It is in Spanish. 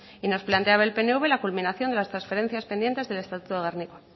y nos planteaba el pnv la culminación de las transferencias pendientes del estatuto de gernika